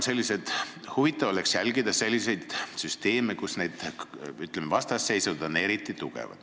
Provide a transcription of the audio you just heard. Huvitav on jälgida selliseid süsteeme piirkondades, kus need vastasseisud on eriti tugevad.